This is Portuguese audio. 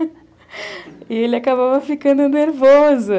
E ele acabava ficando nervoso.